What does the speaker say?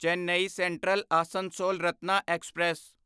Chennai Central Asansol Ratna express